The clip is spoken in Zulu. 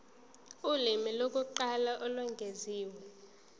ulimi lokuqala olwengeziwe